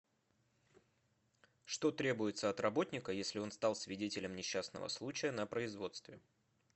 что требуется от работника если он стал свидетелем несчастного случая на производстве